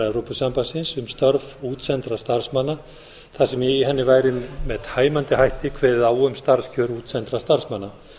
evrópusambandsins um störf útsendra starfsmanna þar sem í henni væri með tæmandi hætti kveðið á um starfskjör útsendra starfsmanna